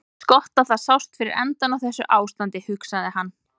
Eins gott að það sást fyrir endann á þessu ástandi, hugsaði hann.